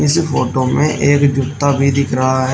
इस फोटो में एक जूता भी दिख रहा है।